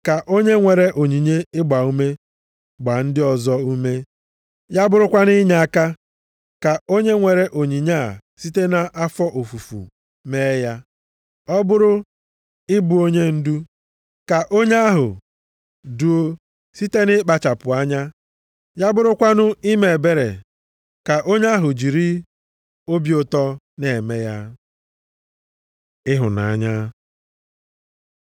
Ka onye nwere onyinye ịgbaume, gbaa ndị ọzọ ume, ya bụrụkwanụ inyeaka, ka onye nwere onyinye a site nʼafọ ofufu mee ya, ọ bụrụ ịbụ onyendu, ka onye ahụ duo site nʼikpachapụ anya, ya bụrụkwanụ ime ebere, ka onye ahụ jiri obi ụtọ na-eme ya. Ịhụnanya